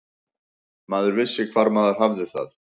Maður vissi hvar maður hafði það.